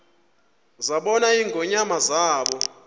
zabona ingonyama zaba